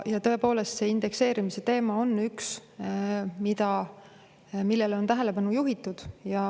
Ja tõepoolest, see indekseerimise teema on üks, millele on tähelepanu juhitud.